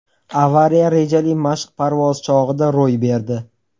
Avariya rejali mashq parvozi chog‘ida ro‘y berdi.